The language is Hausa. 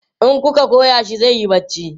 in kuka Goya shi zaiyi barci